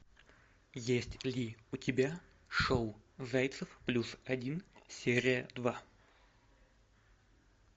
есть ли у тебя шоу зайцев плюс один серия два